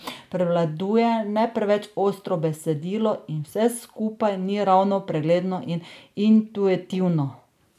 Prevladuje ne preveč ostro besedilo in vse skupaj ni ravno pregledno in intuitivno.